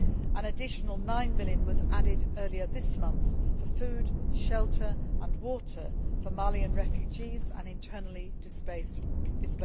An additional EUR 9 million was added earlier this month for food, shelter and water for Malian refugees and internally displaced persons.